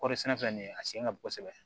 Kɔɔri sɛnɛ nin a sen ka bon kosɛbɛ